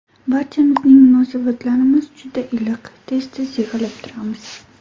Barchamizning munosabatlarimiz juda iliq, tez-tez yig‘ilib turamiz.